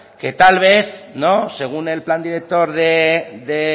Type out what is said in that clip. que tal vez según el plan director de